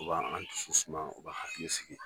U ba an dusu suma u ba an hakili sigi